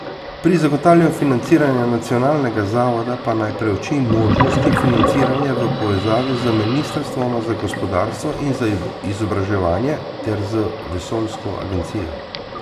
Pri zagotavljanju financiranja nacionalnega zavoda pa naj preuči možnosti financiranja v povezavi z ministrstvoma za gospodarstvo in za izobraževanje ter z vesoljsko agencijo.